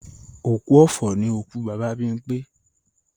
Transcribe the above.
Òkú ọ̀fọ̀ ni òkú Bàbá Bímpé